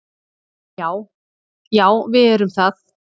Já, já við erum það.